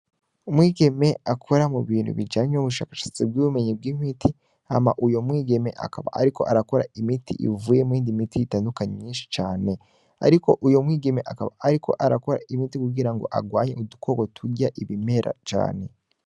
Umwigeme akora mubintu bijanye n'ubushakashatsi bw'ubumenyi bw'imiti hama uwl mwigeme akaba ariko arakora ivuyemwo iyindi miti itadukanye mwinshi cane, ariko uwo mwigeme akaba ariko arakora imiti kugira ngo arwaye udukoko turya ibimera cane.